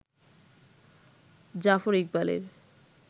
জাফর ইকবালের